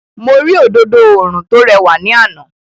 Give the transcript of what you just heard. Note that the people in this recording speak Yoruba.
Mo rí òdodo oòrùn tó rẹwà ní àná.